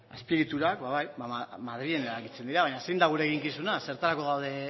azpiegiturak ba bai madrilen erabakitzen dira baina zein da gure eginkizuna zertarako gaude